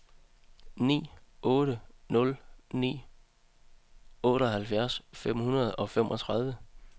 ni otte nul ni otteoghalvfjerds fem hundrede og femogtredive